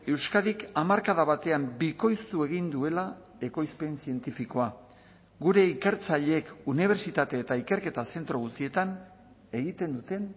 euskadik hamarkada batean bikoiztu egin duela ekoizpen zientifikoa gure ikertzaileek unibertsitate eta ikerketa zentro guztietan egiten duten